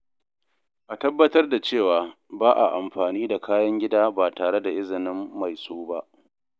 A tabbatar da cewa ba a amfani da kayan gida ba tare da izinin mai su ba.